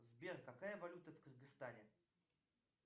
сбер какая валюта в кыргызстане